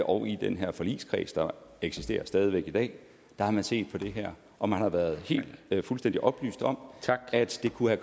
og i den her forligskreds der eksisterer stadig væk i dag der har man set på det her og man har været helt fuldstændig oplyst om at det kunne